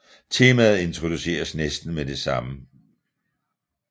Temaet introduceres næsten med det samme